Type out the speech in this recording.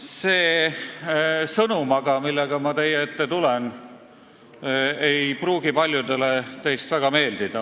See sõnum, millega ma teie ette tulen, ei pruugi paljudele teist eriti meeldida.